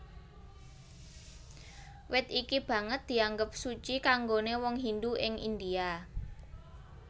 Wit iki banget dianggep suci kanggoné wong Hindu ing India